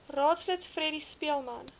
raadslid freddie speelman